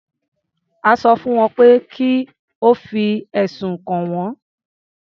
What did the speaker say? A sọ fún pé kí ó fi ẹ̀sùn kàn wọ́n.